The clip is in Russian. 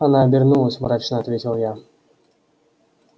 она обернулась мрачно ответил я